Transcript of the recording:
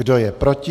Kdo je proti?